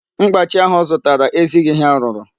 Mkpachi ahụ ọ zụtara ezighị ihe arụrụ.